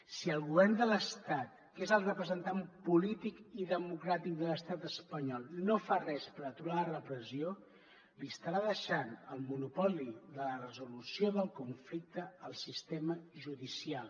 si el govern de l’estat que és el representant polític i democràtic de l’estat espanyol no fa res per aturar la repressió estarà deixant el monopoli de la resolució del conflicte al sistema judicial